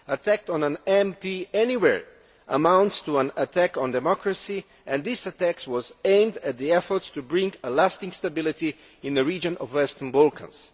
An attack on an MP anywhere amounts to an attack on democracy and this attack was aimed at the efforts to bring lasting stability in the region of the Western Balkans.